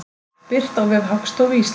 Birt á vef Hagstofu Íslands.